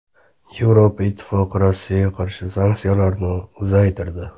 Yevropa Ittifoqi Rossiyaga qarshi sanksiyalarni uzaytirdi.